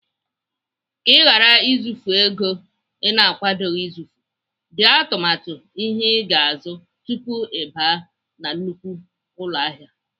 Ka ị ghara izufu ego Ị na-akwadoghị izufu, dee atụmatụ ihe ị ga-azụ tupu Ị baa na nnukwu ụlọahịa.